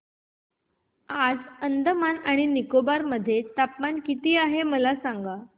आज अंदमान आणि निकोबार मध्ये तापमान किती आहे मला सांगा